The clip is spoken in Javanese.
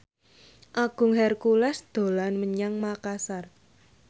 Agung Hercules dolan menyang Makasar